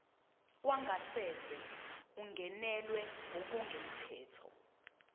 wangasese ungenelwe ngokungemthetho